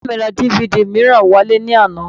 Bàbá mi ra DVD mìíràn wálé ní àná